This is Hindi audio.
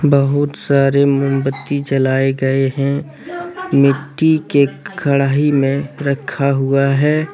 बहुत सारे मोमबत्ती जलाए गए हैं मिट्टी के कढ़ाई में रखा हुआ है।